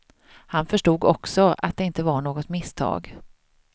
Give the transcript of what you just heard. Han förstod också att det inte var något misstag.